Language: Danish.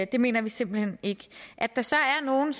det mener vi simpelt hen ikke at der så er nogle